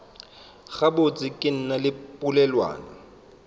gabotse ke na le polelwana